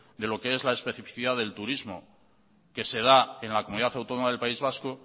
de lo que es la especificidad del turismo que será en la comunidad autónoma del país vasco